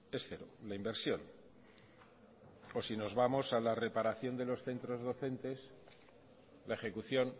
es cero la inversión o si nos vamos a la reparación de los centros docentes la ejecución